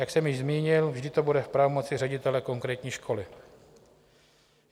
Jak jsem již zmínil, vždy to bude v pravomoci ředitele konkrétní školy.